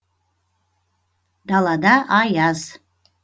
далада аяз